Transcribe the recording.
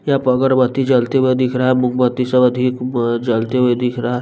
यहां प अगरबत्ती जलते हुए दिख रहा है मोमबत्ती से अधिक अ जलते हुए दिख रहा--